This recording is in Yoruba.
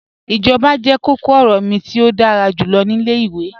Ijọba jẹ kọ̀kọ-ọrọ mi ti o dára julọ ni ilẹ̀-iwe.